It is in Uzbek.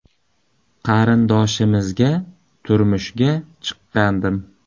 Qarindoshimizga turmushga chiqqandim.